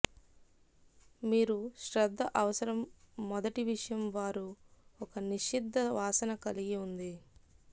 మీరు శ్రద్ద అవసరం మొదటి విషయం వారు ఒక నిర్దిష్ట వాసన కలిగి ఉంది